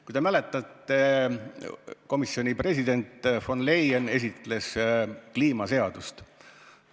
Kui te mäletate, siis komisjoni president von der Leyen esitles seal kliimaseadust.